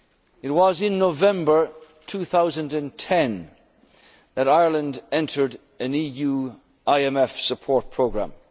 economy. It was in November 2010 that Ireland entered an EU IMF support programme.